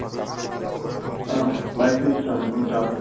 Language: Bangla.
কেন কোন চাপ নেই